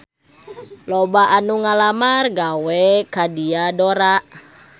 Loba anu ngalamar gawe ka Diadora